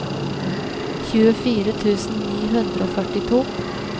tjuefire tusen ni hundre og førtito